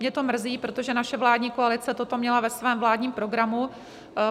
Mě to mrzí, protože naše vládní koalice toto měla ve svém vládním programu.